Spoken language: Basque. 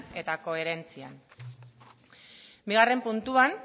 eta koherentzian bigarren puntuan